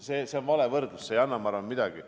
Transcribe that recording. See on vale võrdlus ja ma arvan, et see ei anna midagi.